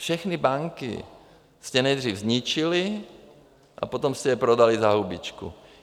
Všechny banky jste nejdřív zničili a potom jste je prodali za hubičku.